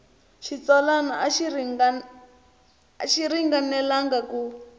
xitsalwana a xi ringanelangi ku